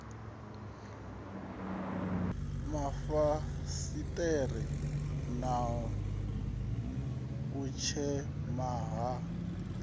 mafasiṱere na u tshema ha